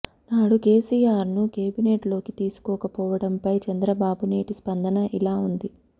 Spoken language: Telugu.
నాడు కేసీఆర్ ను కేబినెట్ లోకి తీసుకోకపోవడంపై చంద్రబాబు నేటి స్పందన ఇలా ఉంది